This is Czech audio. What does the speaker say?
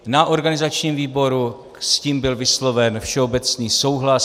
Na organizačním výboru s tím byl vysloven všeobecný souhlas.